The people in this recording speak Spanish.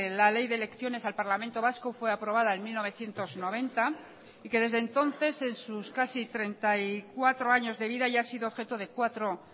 la ley de elecciones al parlamento vasco fue aprobada en mil novecientos noventa y que desde entonces en sus casi treinta y cuatro años de vida ya ha sido objeto de cuatro